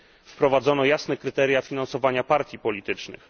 Wprowadzono jasne kryteria finansowania partii politycznych.